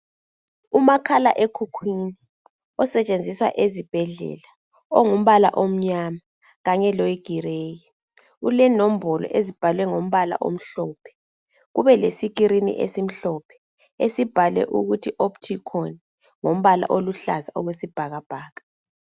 Umakhalaekhukhwini osetshenziswa esibhedlela ongumbala omnyama kanye loyi grey , unembolo ezibhalwe ngombala omhlophe , ube le screen esimhlophe esibhalwe umuthi opticon ngombala oluhlaza okwesibhakabhaka